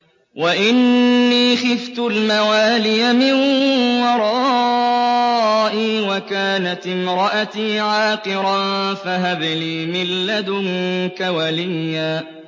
وَإِنِّي خِفْتُ الْمَوَالِيَ مِن وَرَائِي وَكَانَتِ امْرَأَتِي عَاقِرًا فَهَبْ لِي مِن لَّدُنكَ وَلِيًّا